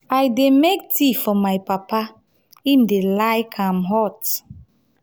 i dey make tea for my papa im dey like am hot.